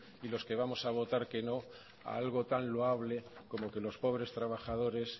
y los que vamos a votar que no a algo tan loable como que los pobres trabajadores